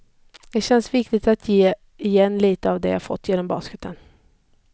Det känns viktigt att ge igen lite av allt jag fått genom basketen.